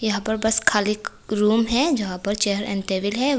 यहां पर बस खाली एक रूम है जहां पर चेयर एंड टेबल है।